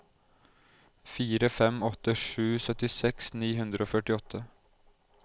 fire fem åtte sju syttiseks ni hundre og førtiåtte